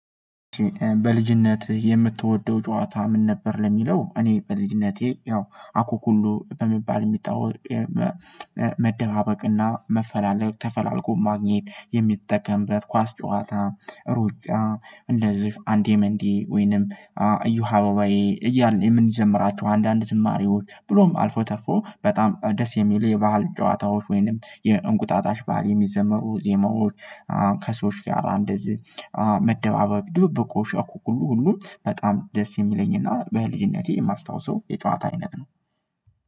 በልጅነት የምትወደው ጨዋታ ምን ነበር? ለሚለው እኔ በልጅነቴ ያው አኩኩሉ በሚባል የሚጣወቅ። መደባበቅና መፈላለግ ተፈላልጎ ማግኘት የሚጠቀምበት ኳስ ጨዋታ ሩጫ እንደዚህ አንዴ መንዴ ወይንም እዮሀ አበባዬ እያልን የምንዘምራቸው አንዳንድ ዝማሬዎች ብሎም አልፎ ተርፎ በጣም ደስ የሚል የባህል ጨዋታዎች ወይንም የእንቁጣጣሽ ባዓል የሚዘመሩ ዜማዎች። ከሰዎች ጋር እንደዚህ መደባበቅ ድብብቆሽ እአኩኩሉ ሁሉ በጣም ደስ የሚለኝና በልጅነቴ የማስታውሰው የጨዋታ አይነት ነው።